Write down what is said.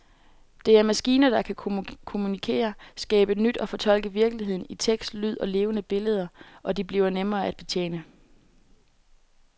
Det er maskiner, der kan kommunikere, skabe nyt og fortolke virkeligheden i tekst, lyd og levende billeder, og de bliver nemmere at betjene.